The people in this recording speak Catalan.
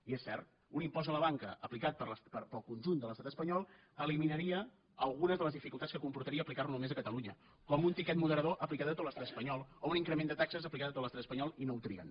i és cert un impost a la banca aplicat pel conjunt de l’estat espanyol eliminaria algunes de les dificultats que comportaria aplicar lo només a catalunya com un tiquet moderador aplicat a tot l’estat espanyol o un increment de taxes aplicades a tot l’estat espanyol i no ho trien